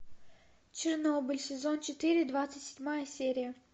чернобыль сезон четыре двадцать седьмая серия